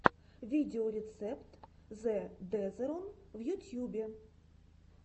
видеорецепт зэ дезерон в ютьюбе